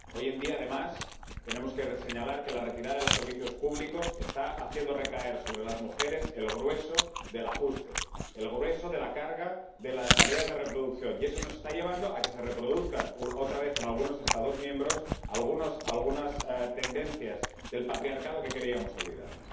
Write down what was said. Hoy en día, además, tenemos que señalar que la retirada de los servicios públicos está haciendo recaer sobre las mujeres el grueso del ajuste, el grueso de la carga de las tareas de reproducción. Y eso nos está llevando a que se reproduzcan otra vez, en algunos Estados miembros, algunas tendencias del patriarcado que creíamos olvidadas.